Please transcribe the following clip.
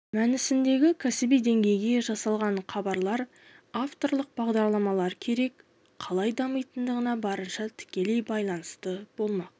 мәнісіндегі кәсіби деңгейде жасалған хабарлар авторлық бағдарламалар керек қалай дамитынына барынша тікелей байланысты болмақ